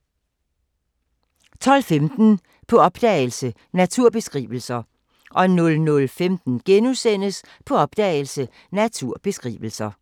12:15: På opdagelse – Naturbeskrivelser 00:15: På opdagelse – Naturbeskrivelser *